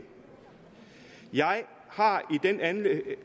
jeg har